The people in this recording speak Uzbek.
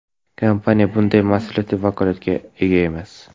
Kompaniya bunday mas’uliyatli vakolatga ega emas.